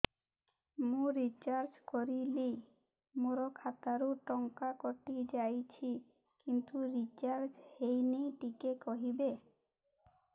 ମୁ ରିଚାର୍ଜ କରିଲି ମୋର ଖାତା ରୁ ଟଙ୍କା କଟି ଯାଇଛି କିନ୍ତୁ ରିଚାର୍ଜ ହେଇନି ଟିକେ କହିବେ